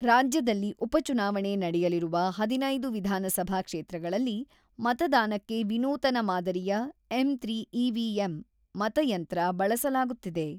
ರಾಜ್ಯದಲ್ಲಿ ಉಪಚುನಾವಣೆ ನಡೆಯಲಿರುವ ಹದಿನೈದು ವಿಧಾನಸಭಾ ಕ್ಷೇತ್ರಗಳಲ್ಲಿ ಮತದಾನಕ್ಕೆ ವಿನೂತನ ಮಾದರಿಯ 'ಎಂ.ತ್ರಿ ಇ.ವಿ.ಎಂ 'ಮತಯಂತ್ರ ಬಳಸಲಾಗುತ್ತಿದೆ.